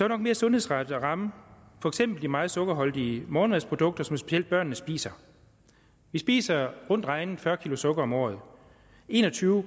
nok mere sundhedsrettet at ramme for eksempel de meget sukkerholdige morgenmadsprodukter som specielt børnene spiser vi spiser rundt regnet fyrre kg sukker om året en og tyve